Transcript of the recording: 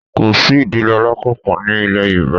Kò sí ìdílé alákanpọ̀ ní il̀ẹ Yorùbá